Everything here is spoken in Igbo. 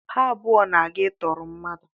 Ha abụọ na-aga ịtụrụ mmadụ.